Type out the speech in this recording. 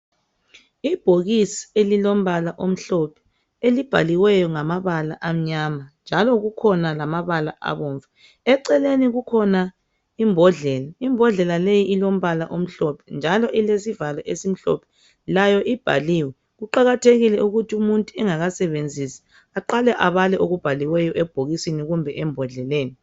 Ibhokisi elilombala omhlophe elibhaliweyo ngamabala amnyama njalo kukhona lamabala abomvu. Eceleni kukhona imbodlela, imbodlela leyi ilombala omhlophe njalo ilesivalo esimhlophe, layo ibhaliwe . Kuqakathekile ukuthi umuntu engakasebenzisi aqale abale okubhaliweyo ebhokisini kumbe embodleleni.